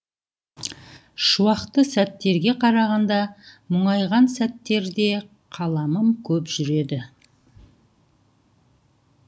шуақты сәттерге қарағанда мұңайған сәттерде қаламым көп жүреді